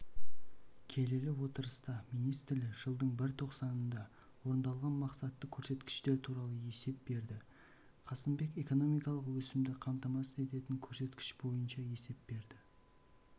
келелі отырыста министрлер жылдың бірінші тоқсанында орындалған мақсатты көрсеткіштер туралы есеп берді қасымбек экономикалық өсімді қамтамасыз ететін көрсеткіш бойынша есеп берді